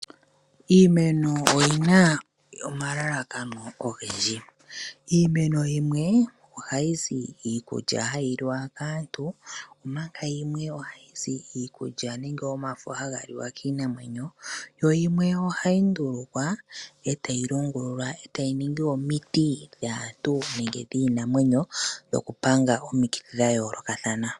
Iimeno oyi na omalalakano ogendji. Iimeno yimwe ohayi zi iikulya hayi liwa kaantu omanga yimwe ohayi zi iikulya nenge omafo haga liwa kiinamwenyo yo yimwe ohayi ndulukwa, tayi longululwa, tayi ningi omiti dhaantu nenge dhiinamwenyo dhokupanga omikithi dhayoolokathana.